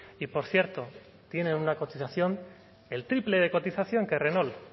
y por cierto tienen una continuación el triple de cotización que renault